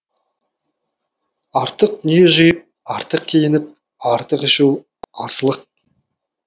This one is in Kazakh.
артық дүние жиып артық киініп артық ішу асылық